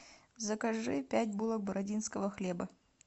закажи пять булок бородинского хлеба